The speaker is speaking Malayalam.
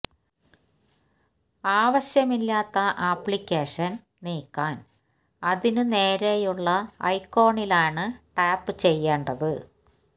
ആവശ്യമില്ലാത്ത ആപ്ലിക്കേഷൻ നീക്കാൻ അതിനു നേരെയുള്ള ഐ ഐക്കോണിലാണ് ടാപ്പ് ചെയ്യേണ്ടത്